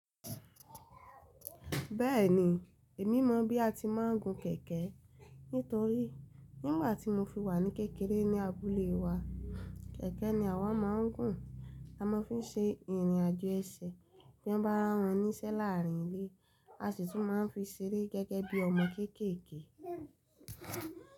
Bẹ́ẹ̀ni, èmi mọ̀ bí a ti máa ń gun kẹ̀kẹ́ nítorí nígbà tí mo fi wà ní kékeré ní abúlé wa, kẹ̀kẹ́ ni àwa máa ń gun. A máa fi n ṣe ìrìn àjò ẹsẹ̀ bí wọ́n bá rán wọn níṣẹ́ láàárin ilé, a sì tún máa ń fi ṣeré gẹ́gẹ́ bí ọmọ kéékèèké.